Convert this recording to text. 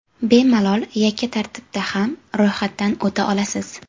Bemalol yakka tartibda ham ro‘yxatdan o‘ta olasiz.